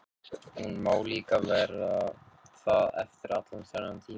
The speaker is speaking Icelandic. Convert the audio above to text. Hún má líka vera það eftir allan þennan tíma.